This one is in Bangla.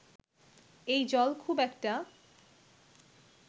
এই জল খুব একটা